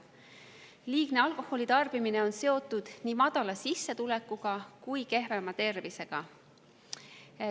Liigne alkoholitarbimine on seotud nii madala sissetulekuga kui ka kehvema tervisega.